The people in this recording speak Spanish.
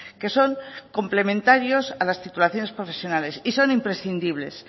que son complementarios a las titulaciones profesionales y son imprescindibles